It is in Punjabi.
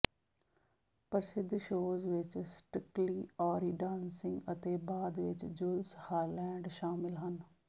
ਪ੍ਰਸਿੱਧ ਸ਼ੋਅਜ਼ ਵਿੱਚ ਸਟ੍ਰਿਕਲੀ ਆੱਰੀ ਡਾਂਸਿੰਗ ਅਤੇ ਬਾਅਦ ਵਿੱਚ ਜੁਲਸ ਹਾਲੈਂਡ ਸ਼ਾਮਲ ਹਨ